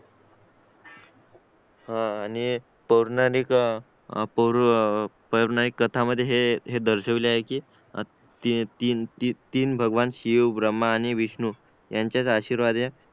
हा आणि पौराणिक कथा मध्ये हे दर्शवले आहे कि तीन भगवान शिव ब्रह्म आणि विष्णू ह्यांचेच आशीर्वाद आहे